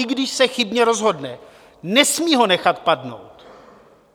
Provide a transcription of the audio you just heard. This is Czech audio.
I když se chybně rozhodne, nesmí ho nechat padnout.